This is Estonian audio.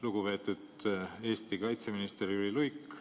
Lugupeetud Eesti kaitseminister Jüri Luik!